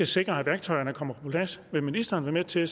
sikre at værktøjerne kommer på plads vil ministeren være med til at